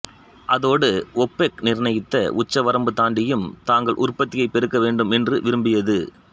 அதோடு ஓப்பெக் நிர்ணயித்த உச்சவரம்பு தாண்டியும் தாங்கள் உற்பத்தியைப் பெருக்க வேண்டும் என்று விரும்பியது